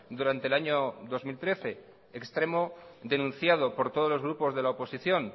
durante el año dos mil trece extremo denunciado por todos los grupos de la oposición